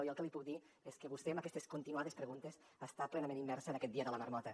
jo el que li puc dir és que vostè amb aquestes continuades preguntes està plenament immersa en aquest dia de la marmota